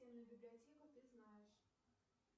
библиотеку ты знаешь